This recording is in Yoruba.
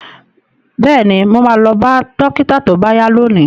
Bẹ́ẹ̀ni, mo ma lọ bá dókítà tó bá yá lónìí